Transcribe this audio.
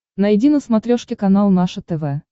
найди на смотрешке канал наше тв